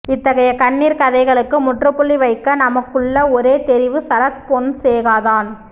இத்தகைய கண்ணீர்க் கதைகளுக்கு முற் றுப்புள்ளி வைக்க நமக்குள்ள ஒரே தெரிவு சரத் பொன்சேகாதான்